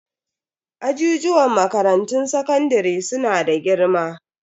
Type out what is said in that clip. Ajijuwan makarantun sakandare su na da girma.